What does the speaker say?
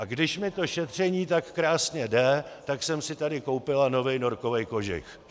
A když mi to šetření tak krásně jde, tak jsem si tady koupila novej norkovej kožich.